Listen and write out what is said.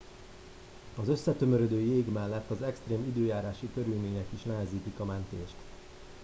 az összetömörödő jég mellett az extrém időjárási körülmények is nehezítik a mentést